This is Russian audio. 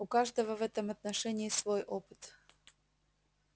у каждого в этом отношении свой опыт